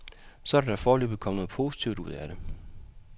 Så er der da foreløbig kommet noget positivt ud af det.